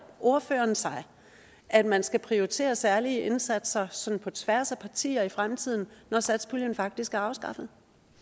ordføreren sig at man skal prioritere særlige indsatser sådan på tværs af partier i fremtiden når satspuljen faktisk er afskaffet